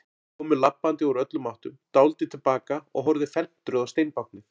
Þau komu labbandi úr öllum áttum, dáldið til baka og horfðu felmtruð á steinbáknið.